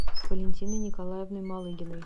валентиной николаевной малыгиной